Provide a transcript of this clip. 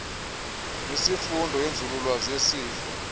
nesifundo senzululwazi yesifo